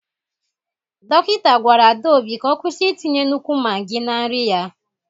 Dọkịta gwara Adaobi ka ọ kwụsị itinye nnukwu maggi na nri ya.